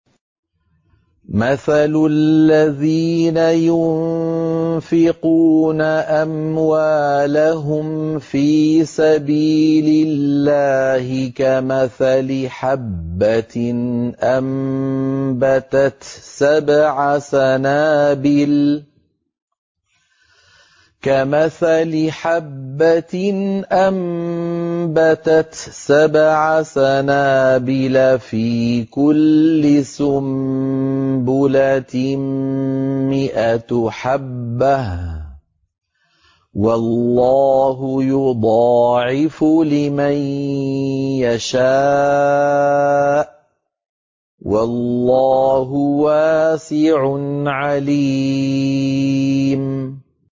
مَّثَلُ الَّذِينَ يُنفِقُونَ أَمْوَالَهُمْ فِي سَبِيلِ اللَّهِ كَمَثَلِ حَبَّةٍ أَنبَتَتْ سَبْعَ سَنَابِلَ فِي كُلِّ سُنبُلَةٍ مِّائَةُ حَبَّةٍ ۗ وَاللَّهُ يُضَاعِفُ لِمَن يَشَاءُ ۗ وَاللَّهُ وَاسِعٌ عَلِيمٌ